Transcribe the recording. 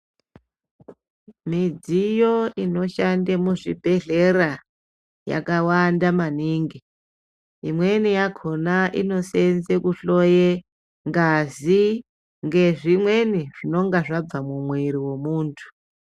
Midziyo inoshande muzvibhehlera yakawanda maningi, imweni yakhona inoseenze kuhloye ngazi ngezvimweni zvinonga zvabva mumwiri womuntu.